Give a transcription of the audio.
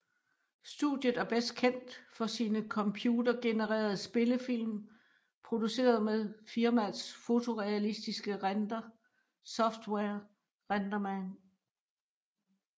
Studiet er bedst kendt for sine computergenererede spillefilm produceret med firmaets fotorealistisk render software RenderMan